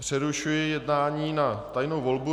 Přerušuji jednání na tajnou volbu.